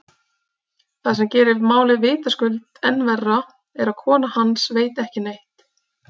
Það sem gerir málið vitaskuld enn verra er að kona hans veit ekki neitt.